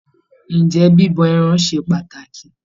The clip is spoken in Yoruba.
Ǹjẹ́ bíbọ ẹran ṣe pàtàkì?